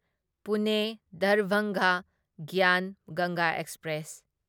ꯄꯨꯅꯦ ꯗꯔꯚꯪꯒ ꯒ꯭ꯌꯥꯟ ꯒꯪꯒꯥ ꯑꯦꯛꯁꯄ꯭ꯔꯦꯁ